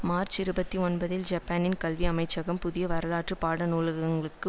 March இருபத்தி ஒன்பதில் ஜப்பானின் கல்வி அமைச்சகம் புதிய வரலாற்று பாடநூல்களுக்கு